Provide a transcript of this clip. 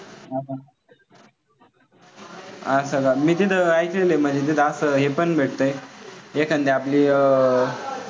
असं का? मी तिथे ऐकलंले म्हणजे तिथं हे पण भेटतंय एखादी आपली अं